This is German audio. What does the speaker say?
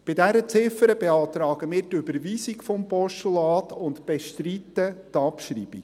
Bei dieser Ziffer beantragen wir die Überweisung des Postulats und bestreiten die Abschreibung.